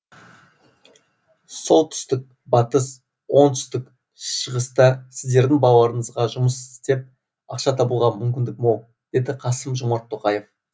солтүстік батыс оңтүстік шығыста сіздердің балаларыңызға жұмыс істеп ақша табуға мүмкіндік мол деді қасым жомарт тоқаев